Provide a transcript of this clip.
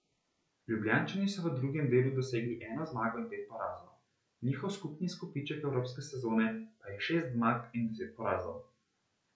Ljubljančani so v drugem delu dosegli eno zmago in pet porazov, njihov skupni izkupiček evropske sezone pa je šest zmag in deset porazov.